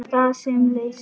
Gas sem leysir